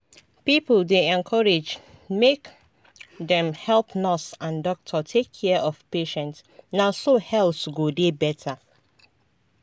people dey encouraged make dem help nurse and doctor take care of patient na so health go dey better.